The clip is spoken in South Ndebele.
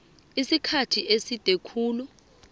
isikhathi eside khulu